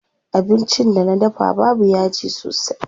Abincin da na dafa babu yaji sosai.